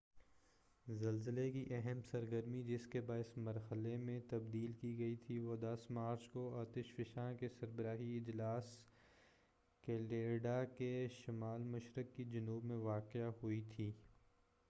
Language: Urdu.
زلزلے کی اہم سرگرمی جس کے باعث مرحلے میں تبدیلی کی گئی تھی وہ 10 مارچ کو آتش فشاں کے سربراہی اجلاس کیلیڈرا کے شمال مشرق کی جانب میں واقع ہوئی تھی